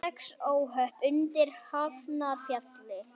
Sex óhöpp undir Hafnarfjalli